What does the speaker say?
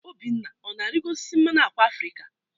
Obinna ọ na-arịgo osisi mmanụ ákwà Afrịka?